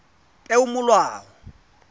peomolao